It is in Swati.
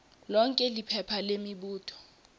lonkhe liphepha lemibuto